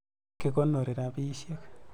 Ki konori rapisyek.